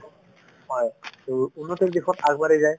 হয় to উন্নতিৰ দিশত আগবাঢ়ি যায়